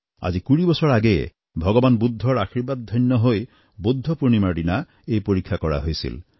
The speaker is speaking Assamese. আজি কুৰি বছৰ আগেয়ে ভগবান বুদ্ধৰ আশীৰ্বাদধন্য হৈ বুদ্ধ পূৰ্ণিমাৰ দিনা এই পৰীক্ষা কৰা হৈছিল